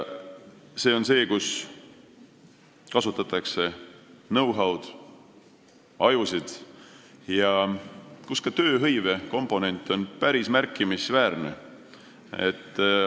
See on valdkond, kus kasutatakse know-how'd, ajusid ja kus ka tööhõive komponent on päris märkimisväärne.